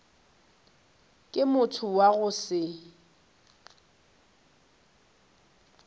ke motho wa go se